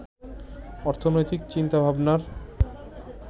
অর্থনৈতিক চিন্তাভাবনার